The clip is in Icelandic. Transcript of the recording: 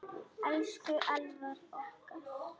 Elsku Elvar okkar.